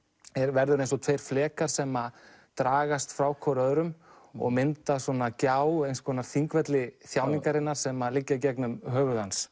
verður eins og tveir flekar sem dragast frá hvor öðrum og það myndast gjá eins konar Þingvelli þjáningarinnar sem liggja gegnum höfuð hans